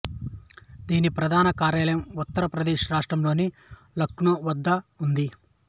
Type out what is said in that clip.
దీని ప్రధాన కార్యాలయం ఉత్తర ప్రదేశ్ రాష్ట్రంలోని లక్నో వద్ద ఉంది